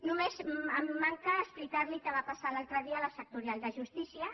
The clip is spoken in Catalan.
només em manca explicar li què va passar l’altre dia a la sectorial de justícia